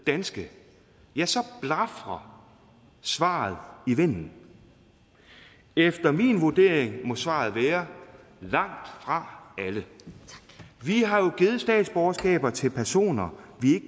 danske blafrer svaret i vinden efter min vurdering må svaret være langt fra alle vi har jo givet statsborgerskab til personer vi